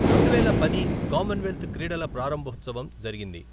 రెండువేల పది కామన్వెల్త్ క్రీడల ప్రారంభోత్సవం జరిగింది.